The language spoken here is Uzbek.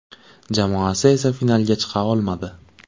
Jamoasi esa finalga chiqa olmadi.